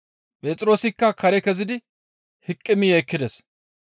Phexroosikka kare kezidi hiqimi yeekkides.